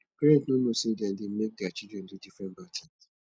parents no know say na dem dey make their children do different bad things